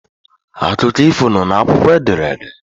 Akụkọ ifo nọ n'akwụkwọ ederede